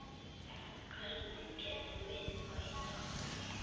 Hvernig getum við bætt okkur?